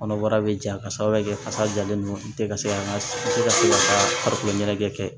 Kɔnɔbara bɛ ja ka sababuya kɛ kasa jalen ninnu tɛ ka se an ka se ka se ka farikolo ɲɛnajɛ kɛ